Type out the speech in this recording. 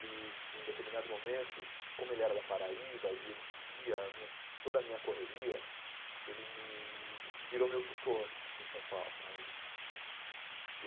E de um determinado momento, como ele era da Paraíba e ele vi via minha toda a minha correria, ele me virou meu tutor aqui em São Paulo cara ele.